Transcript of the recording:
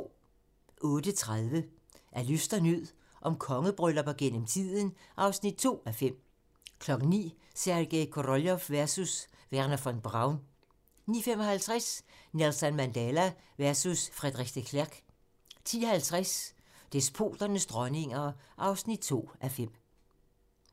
08:30: Af nød og lyst - om kongebryllupper gennem tiden (2:5) 09:00: Sergej Koroljov versus Wernher von Braun 09:55: Nelson Mandela versus Frederik de Klerk 10:50: Despoternes dronninger (2:5)